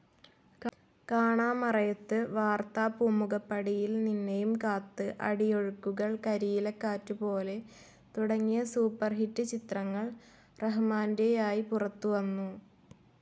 കാണാമറയത്ത്, വാർത്ത, പൂമുഖപ്പടിയിൽ നിന്നെയും കാത്ത്, അടിയൊഴുക്കുകൾ, കരിയിലക്കാറ്റുപോലെ തുടങ്ങിയ സൂപ്പർഹിറ്റ് ചിത്രങ്ങൾ റഹ്മാന്റെയായി പുറത്തുവന്നു.